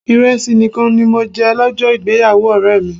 Ìrẹsì nìkan ni mo jẹ lọ́jọ́ ìgbéyàwó ọ̀rẹ́ mi.